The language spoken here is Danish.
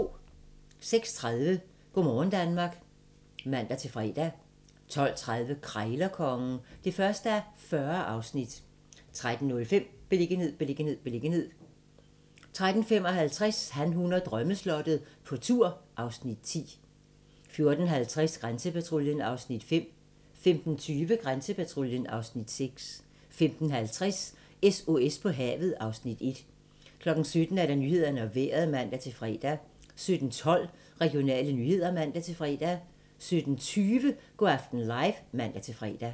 06:30: Go' morgen Danmark (man-fre) 12:30: Krejlerkongen (1:40) 13:05: Beliggenhed, beliggenhed, beliggenhed 13:55: Han, hun og drømmeslottet - på tur (Afs. 10) 14:50: Grænsepatruljen (Afs. 5) 15:20: Grænsepatruljen (Afs. 6) 15:50: SOS på havet (Afs. 1) 17:00: Nyhederne og Vejret (man-fre) 17:12: Regionale nyheder (man-fre) 17:20: Go' aften live (man-fre)